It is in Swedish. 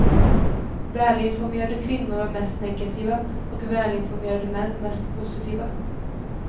Välinformerade kvinnor var mest negativa och välinformerade män mest positiva.